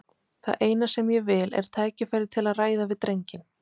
Það eina sem ég vil er tækifæri til að ræða við drenginn.